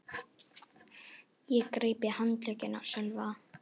Ég greip í handlegginn á Sölva.